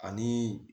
Ani